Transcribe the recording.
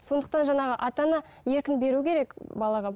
сондықтан жаңағы ата ана еркін беру керек балаға